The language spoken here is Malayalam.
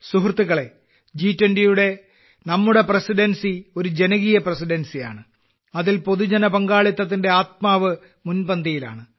സുഹൃത്തുക്കളേ ജി20യുടെ നമ്മുടെ പ്രസിഡൻസി ഒരു ജനകീയ പ്രസിഡൻസിയാണ് അതിൽ പൊതുജന പങ്കാളിത്തത്തിന്റെ ആത്മാവ് മുൻപന്തിയിലാണ്